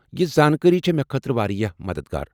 یہِ زانکٲری چھِ مےٚ خٲطرٕ واریاہ مدتھ گار ۔